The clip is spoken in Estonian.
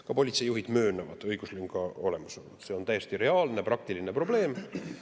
Ka politseijuhid möönavad õiguslünga olemasolu, see on täiesti reaalne praktiline probleem.